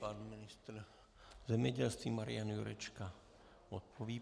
Pan ministr zemědělství Marian Jurečka odpoví.